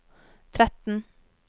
tretten